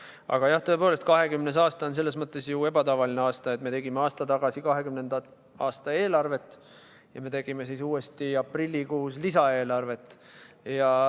Aga jah, tõepoolest, 2020. aasta on selles mõttes ju ebatavaline aasta, et me tegime aasta tagasi 2020. aasta eelarvet ja aprillikuus tegime lisaeelarvet.